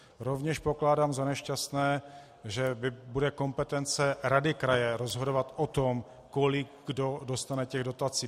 Rovněž pokládám za nešťastné, že bude kompetence rady kraje rozhodovat o tom, kolik kdo dostane těch dotací.